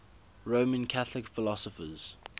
roman catholic philosophers